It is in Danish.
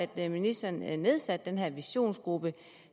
at ministeren nedsatte den her visionsgruppe